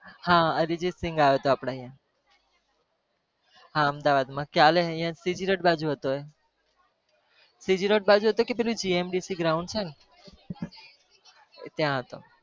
હા અરિજિતસિંગ આવ્યો હતો આપણા અહિયાં હા અમદાવાદમાં કાલે અહીંયા CG road બાજુ હતો એ CG road બાજુ હતો કે જે પેલું GMDC ground છે ને એ ત્યાં હતો